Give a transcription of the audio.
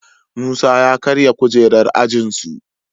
Musa ya karya kujerar ajin su